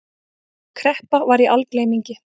Kreppa var í algleymingi.